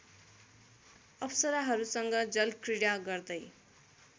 अप्सराहरूसँग जलक्रीडा गर्दै